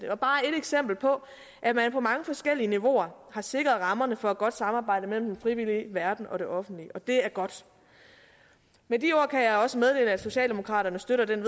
er bare ét eksempel på at man på mange forskellige niveauer har sikret rammerne for et godt samarbejde mellem den frivillige verden og det offentlige og det er godt med de ord kan jeg også meddele at socialdemokraterne støtter den